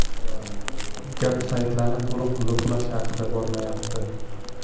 Gap saytlarni to‘liq bloklash haqida bormayapti.